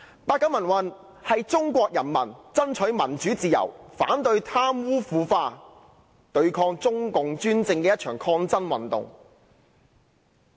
八九民運是中國人民爭取民主自由、反對貪污腐化，以及對抗中共專政的一場抗爭運動。